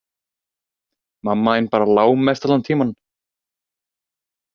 Mamma þín bara lá mest allan tímann.